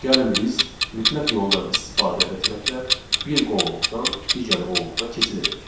Gəlin biz mütləq yoldan istifadə etməklə bir qovluqdan digər qovluğa keçid edək.